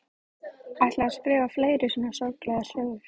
Ætlið þér að skrifa fleiri svona sorglegar sögur?